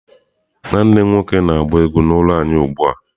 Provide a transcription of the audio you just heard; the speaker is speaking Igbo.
Nwanne m nwoke na-agba egwu n'ụlọ anyị ugbu a.